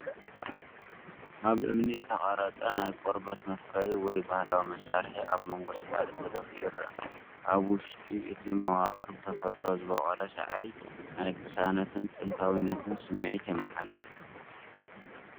ኣብ እምኒ ዝተቐርጸ ናይ ቆርበት መፍረዪ ወይ ባህላዊ መሳርሒ ኣብ መንጎ ሳዕሪ ተደፊኡ ይረአ። ኣብ ውሽጢ እቲ መዋቕር ብተፈጥሮ ዝበቖለ ሳዕሪ ናይ ቅሳነትን ጥንታዊነትን ስምዒት የመሓላልፍ።